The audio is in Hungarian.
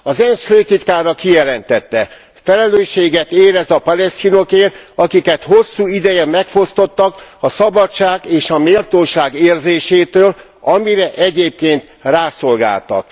Az ENSZ főtitkára kijelentette felelősséget érez a palesztinokért, akiket hosszú ideje megfosztottak a szabadság és a méltóság érzésétől, amire egyébként rászolgáltak.